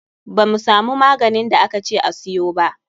Ba mu samu maganin da aka ce a siyo ba.